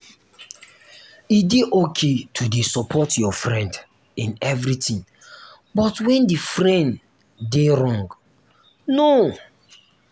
e de okay to de support your friend in everything but when di friend de wrong? no